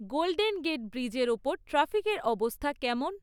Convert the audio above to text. Golden Gate ব্রিজের উপর ট্রাফিকের অবস্থা কেমন?